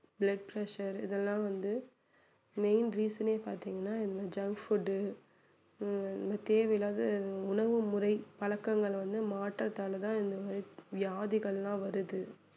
blood pressure இதெல்லாம் வந்து main reason ஏ பாத்தீங்கன்னா இந்த junk food உ ஹம் இந்த தேவையில்லாத உணவு முறை பழக்கங்கள் வந்து மாற்றத்தால தான் இந்த மாதிரி வியாதிகள்லாம் வருது